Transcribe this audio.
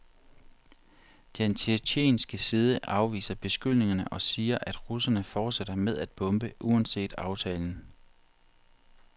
Den tjetjenske side afviser beskyldningerne og siger, at russerne fortsætter med at bombe uanset aftalen.